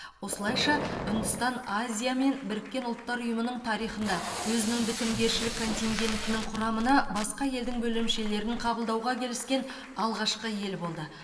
осылайша үндістан азия мен біріккен ұлттар ұйымының тарихында өзінің бітімгершілік контингентінің құрамына басқа елдің бөлімшелерін қабылдауға келіскен алғашқы ел болды